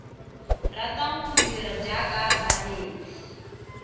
ratang go dira jaaka banetshi